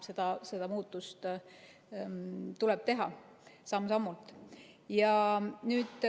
Neid muudatusi tuleb teha, samm-sammult.